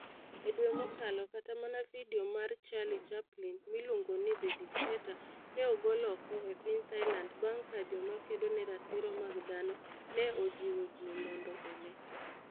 E dwe mokalo, kata mana vidio mar Charlie Chaplin, miluongo ni The Dictator, ne ogol oko e piny Thailand bang ' ka joma kedo ne ratiro mag dhano ne ojiwo ji mondo one.